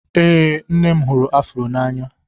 Ee, nne m hụrụ afro n'anya